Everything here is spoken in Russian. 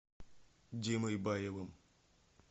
димой баевым